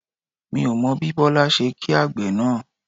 Mi ò mọ bí Bọlá ṣe kí àgbẹ̀ náà